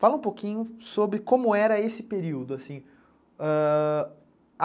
Fala um pouquinho sobre como era esse período, assim.